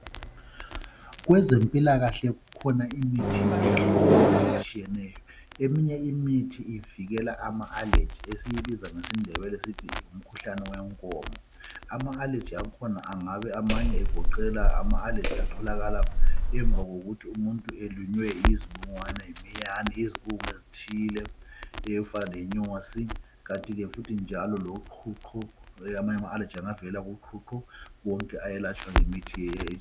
Kwezempilakahle kukhona imithi eyehlukeneyo etshiyeneyo. Eminye imithi evikela ama allergy, esikubiza ngesiNdebele sithi ngumkhuhlane wenkomo. Ama allergy akhona angabe amanye egoqela ama allergy atholakala emva kokuthi umuntu elunywe yizibungwana, yimiyane, yizibungu ezithile ezifana lenyosi, kanti ke futhi njalo loqhuqho, kulamanye ama allergy angavelela kuqhuqho, wonke ayelatshwa ngemithi leyi.